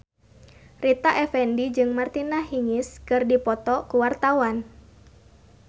Rita Effendy jeung Martina Hingis keur dipoto ku wartawan